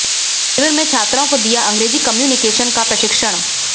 शिविर में छात्राओं को दिया अंग्रेजी कम्युनिकेशन का प्रशिक्षण